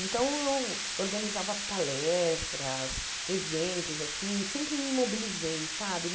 Então, eu organizava palestras, eventos, assim, sempre me mobilizei, sabe?